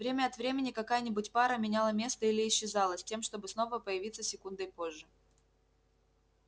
время от времени какая-нибудь пара меняла место или исчезала с тем чтобы снова появиться секундой позже